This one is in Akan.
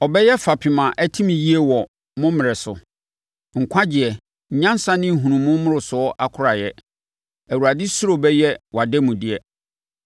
Ɔbɛyɛ fapem a atim yie wɔ mo mmerɛ so, nkwagyeɛ, nyansa ne nhunumu mmorosoɔ akoraeɛ; Awurade suro bɛyɛ wʼademudeɛ.